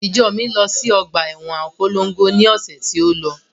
Ìjọ mi lọ sí ọgbà ẹwọn Abólongo ni ọ̀sẹ̀ tí ó.